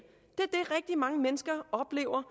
det er mange mennesker oplever